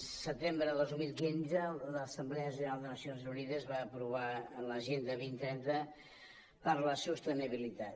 el setembre de dos mil quinze l’assemblea general de les nacions unides va aprovar l’agenda dos mil trenta per a la sostenibilitat